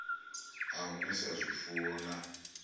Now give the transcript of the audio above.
a u nwisa zwifuwo na